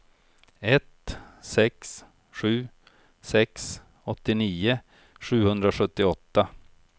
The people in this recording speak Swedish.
ett sex sju sex åttionio sjuhundrasjuttioåtta